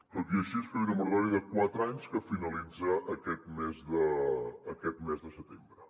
tot i així es feia una moratòria de quatre anys que finalitza aquest mes de setembre